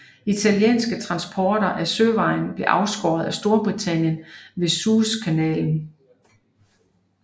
Italienske transporter ad søvejen blev afskåret af Storbritannien ved Suez kanalen